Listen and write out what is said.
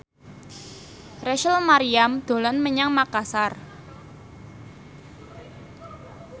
Rachel Maryam dolan menyang Makasar